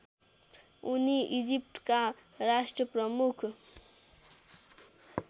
उनी इजिप्टका राष्ट्रप्रमुख